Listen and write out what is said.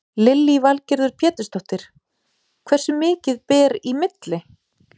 Lillý Valgerður Pétursdóttir: Hversu mikið ber í milli?